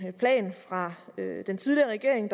plan fra den tidligere regering